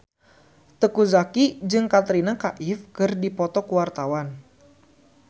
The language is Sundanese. Teuku Zacky jeung Katrina Kaif keur dipoto ku wartawan